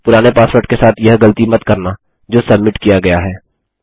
पुराने पासवर्ड के साथ यह गलती मत करना जो सब्मिट किया गया है